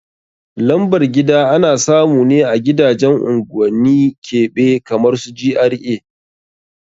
Lambar gida ana samune a gidajen unguwanni keɓe kamar su GRA